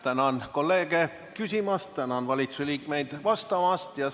Tänan kolleege küsimast ja tänan valitsusliikmeid vastamast!